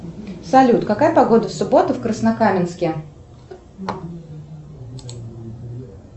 салют какая погода в субботу в краснокаменске